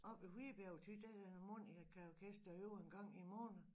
Oppe i Hvidbjerg og Thy der er et harmonikaorkester der øver en gang i måneden